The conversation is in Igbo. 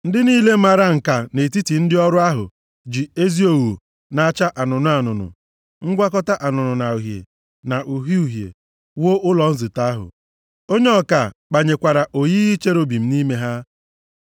Ndị niile mara ǹka nʼetiti ndị ọrụ ahụ ji ezi ogho na-acha anụnụ anụnụ, ngwakọta anụnụ na uhie na uhie uhie wuo ụlọ nzute ahụ. Onye ọka kpanyekwara oyiyi cherubim nʼime ha.